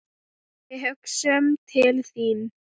Við hugsum til þín.